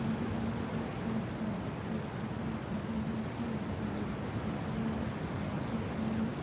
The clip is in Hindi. यहाँ पे अलग अलग क्लासेस की बुको को रखा गया है यहाँ पे व्यक्ति खड़ा हुआ है यहाँ पे लाइट्स लगी हुई है।